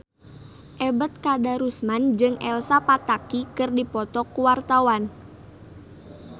Ebet Kadarusman jeung Elsa Pataky keur dipoto ku wartawan